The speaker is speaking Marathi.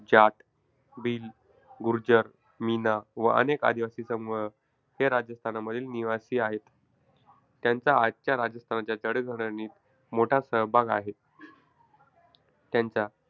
जाट, भील, गुर्जर, मीना व अनेक आदिवासी समूह हे राजस्थानमधील निवासी आहेत. त्यांचा आजच्या राजस्थानच्या जडणघडणीत मोठा सहभाग आहे. त्यांचा,